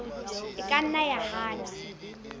e ka nna ya hana